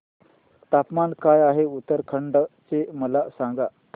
तापमान काय आहे उत्तराखंड चे मला सांगा